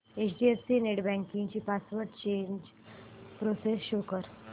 HDFC net banking ची password change process show कर